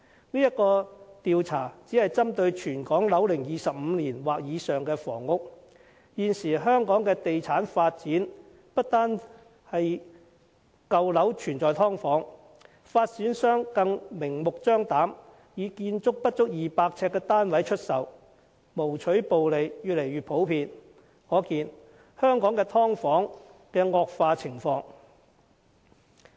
這項調查只是針對全港樓齡25年及以上的房屋，但現時香港的地產發展已不單是舊樓有"劏房"，發展商更明目張膽地出售建築不足200呎的單位，牟取暴利的情況越來越普遍，可見香港的"劏房"問題已經嚴重惡化。